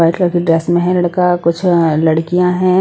White colour के dress में है लड़का कुछ लड़कियां है।